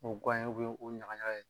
O ye gan o ɲagaɲaga ye